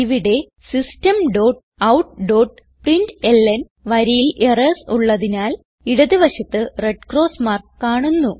ഇവിടെ systemoutപ്രിന്റ്ലൻ വരിയിൽ എറർസ് ഉള്ളതിനാൽ ഇടത് വശത്ത് റെഡ് ക്രോസ് മാർക്ക് കാണുന്നു